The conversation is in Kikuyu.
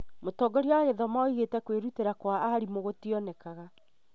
Mũtongoria wa gĩthomo augĩte atĩ kwĩrutĩra gwa arimũ gũtionekaga